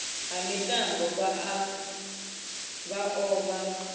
ha mitambo vha o vha